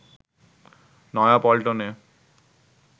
নয়া পল্টনে